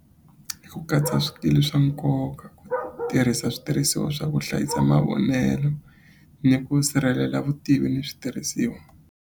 Ku katsa swikili swa nkoka tirhisa switirhisiwa swa ku hlayisa mavonelo ni ku sirhelela vutivi ni switirhisiwa.